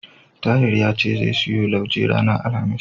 Tahir ya ce zai siyo lauje ranar Alhamis.